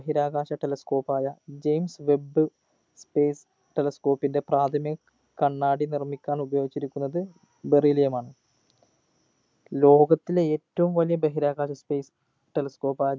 ബഹിരാകാശ telescope ആയ James webb space telescope ൻ്റെ പ്രാഥമിക കണ്ണാടി നിർമിക്കാൻ ഉപയോഗിച്ചിരിക്കുന്നത് beryllium മാണ് ലോകത്തിലെ ഏറ്റവും വലിയ ബഹിരാകാശത്തെ telescope ആയ